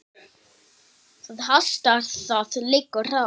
Það hastar: það liggur á.